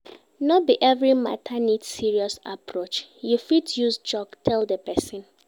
No be every matter need serious approach you fit use joke tell di persin